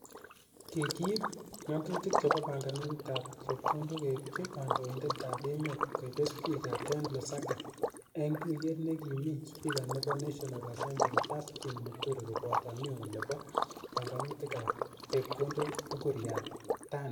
Kikiip ngatutik chep panganutik ap chepkondok keipchi kandoindet ap emet, koipe Speaker Ken Lusaka ing tuiyet ne ki mi speaker nebo national assembly Justin Muturi koboto neo nepo panganutik ap chepkondok Ukur Yattani.